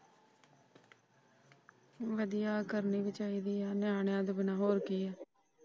ਵਧੀਆ ਕਰਨੀ ਵੀ ਚਾਹੀਦੀ ਏ ਨਿਆਣਿਆਂ ਤੋਂ ਬਿਨਾ ਹੋਰ ਕੀ ਏ।